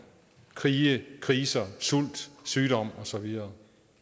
krige kriser sult sygdom og så videre